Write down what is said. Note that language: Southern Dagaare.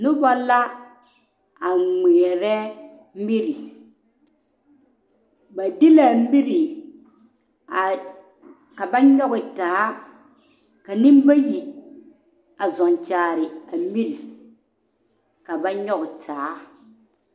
Noba la a ŋmare mire ba de la a mire ka ba nyɔge ta zeŋe ka noba bayi a zɔŋkyɛre a mire ka ba nyɔge taa.